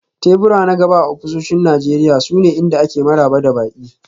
Tebura na gaba a ofisoshin Najeriya sune inda ake maraba da baƙi.